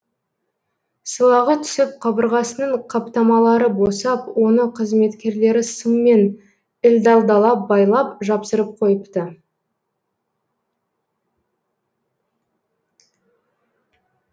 сылағы түсіп қабырғасының қаптамалары босап оны қызметкерлері сыммен ілдәлдалап байлап жапсырып қойыпты